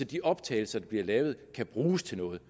de optagelser der bliver lavet kan bruges til noget